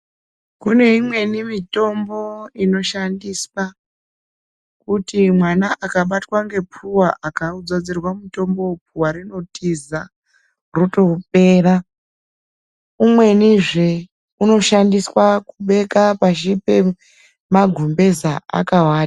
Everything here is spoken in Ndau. Kune imweni mitombo inoshandiswa kuti mwana akabatwa ngephuwa akaudzodzerwa mutombowo phuwa rinotiza rotopera. Umwenizve unoshandiswa kubeka pashipemagumbeza akavata.